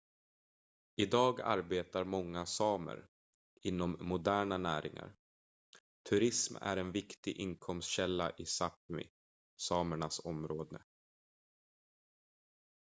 idag arbetar många samer inom moderna näringar turism är en viktig inkomstkälla i sápmi samernas område